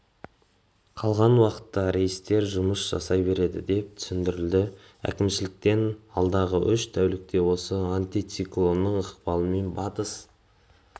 қалған уақытта рейстер жұмыс жасай береді деп түсіндірілді әкімшіліктен алдағы үш тәулікте осы антициклонның ықпалымен батыс